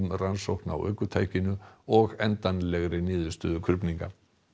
rannsókn á ökutækinu og endanlegri niðurstöðu krufninga